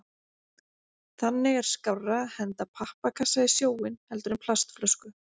Þannig er skárra að henda pappakassa í sjóinn heldur en plastflösku.